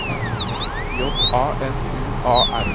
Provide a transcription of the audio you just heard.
J A N U A R